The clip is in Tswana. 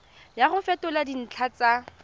ya go fetola dintlha tsa